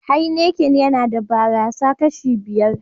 "Heineken " yana da barasa kashi biyar.